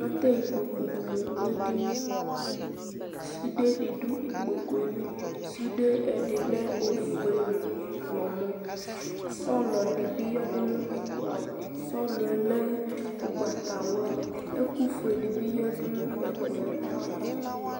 Atɛ ikpoku dini nu ɛdini sude di du ikpokue li sude di lɛ oƒue nu ɔɣlɔmɔ sɔlɔ dibi ya nu ɛkplɔ ava sɔlɔ yɛ lɛ ugbatawla ku ɛkufue dibi yanu ɛkplɔ yɛ ava